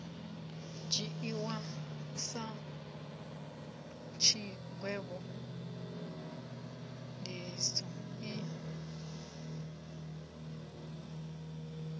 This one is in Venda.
dzhiiwi sa tshigwevho ndiliso i